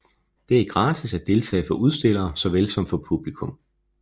Det er gratis at deltage for udstillere såvel som publikum